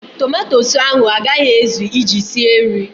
Tomatosu ahụ a gaghị ezụ iji sie nri.